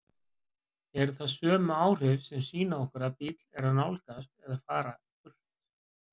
Eru það sömu áhrif sem sýna okkur að bíll er að nálgast eða fara burt?